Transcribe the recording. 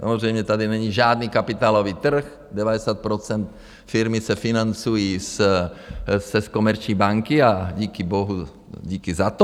Samozřejmě tady není žádný kapitálový trh, 90 % firmy se financují z Komerční banky a díky bohu, díky za to.